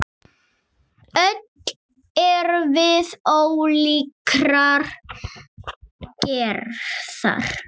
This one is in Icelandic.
Öll erum við ólíkrar gerðar.